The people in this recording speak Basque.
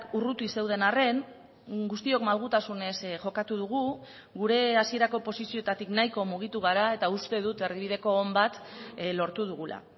urruti zeuden arren guztiok malgutasunez jokatu dugu gure hasierako posizioetatik nahiko mugitu gara eta uste dut erdibideko on bat lortu dugula